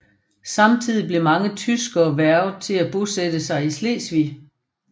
Samtidig blev mange tyskere hvervet til at bosætte sig i Slesvig